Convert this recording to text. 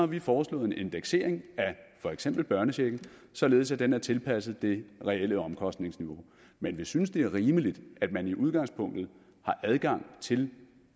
vi foreslået en indeksering af for eksempel børnechecken således at den er tilpasset det reelle omkostningsniveau men vi synes at det er rimeligt at man i udgangspunktet har adgang til